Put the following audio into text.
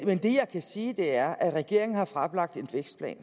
men det jeg kan sige er at regeringen har fremlagt en vækstplan